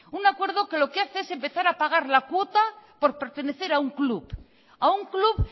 un acuerdo que lo que hace es empezar a pagar la cuota por pertenecer a un club a un club